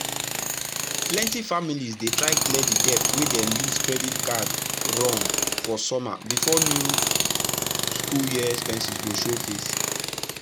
plenty families dey try clear the debt wey dem use credit card run for summer before new school year expenses go show face.